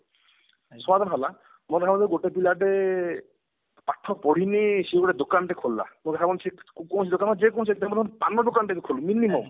ସମାଧାନ ହେଲା ମାନେ କଣ କହିଲେ ଗୋଟେ ପିଲାଟେ ପାଠ ପଢିଣୀ ସେ ଗିତେ ଦୋକାନ ଟିଏ ଖୋଲିଲା ଉଦାହରଣ ସେ କୌଣସି ଦୋକାନ ସେ ଯେ କୌଣସି ଦୋକାନ ପାନ ଦୋକାନ ଟିଏ ବି ଖୋଲୁ minimum